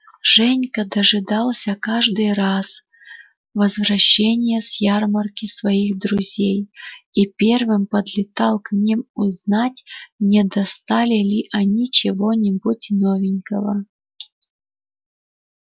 женька дожидался каждый раз возвращения с ярмарки своих друзей и первым подлетал к ним узнать не достали ли они чего-нибудь новенького